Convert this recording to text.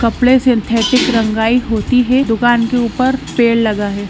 कपड़े सिंथेटिक रंगाई होती है दुकान के ऊपर पेड़ लगा है।